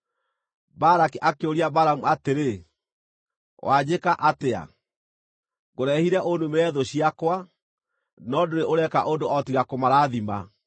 Balaki akĩũria Balamu atĩrĩ, “Wanjĩka atĩa? Ngũrehire ũnumĩre thũ ciakwa, no ndũrĩ ũreka ũndũ o tiga kũmarathima!”